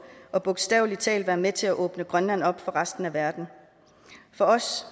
og bogstavelig talt være med til at åbne grønland op for resten af verden for os